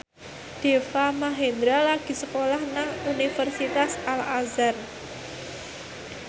Deva Mahendra lagi sekolah nang Universitas Al Azhar